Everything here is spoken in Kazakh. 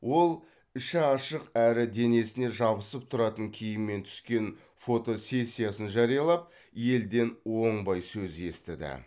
ол іші ашық әрі денесіне жабысып тұратын киіммен түскен фотосессиясын жариялап елден оңбай сөз естіді